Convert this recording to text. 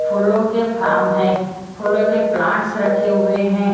फूलों के फार्म है फूलों के प्लांट्स रखे हुए हैं।